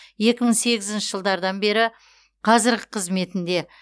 екі мың сегізінші жылдардан бері қазіргі қызметінде